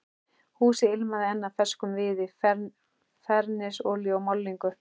Húsið ilmaði enn af ferskum viði, fernisolíu og málningu.